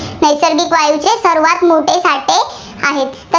नैसर्गिक वायूचे सर्वांत मोठे साठे आहेत.